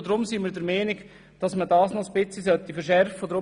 Deshalb sind wir der Meinung, dies sollte ein wenig verschärft werden.